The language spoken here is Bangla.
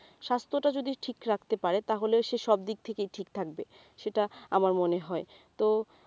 স্বাস্থ্যটা যদি ঠিক রাখতে পারে তাহলে সে সবদিক থেকেই ঠিক থাকবে সেটা আমার মনে হয় তো,